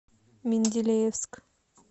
менделеевск